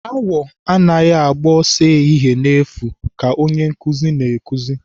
Awọ anaghị agba ọsọ ehihie n'efu ka Onye nkụzi na-akụzi.